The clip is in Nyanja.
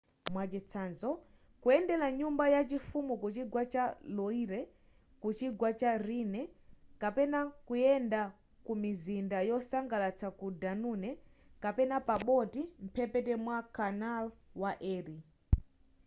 mwachitsanzo kuyendera nyumba ya chifumu kuchigwa cha loire kuchigwa cha rhine kapena kuyenda kumizinda yosangalatsa ku danune kapena pa boti mphepete mwa canal wa erie